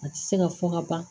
A tɛ se ka fɔ ka ban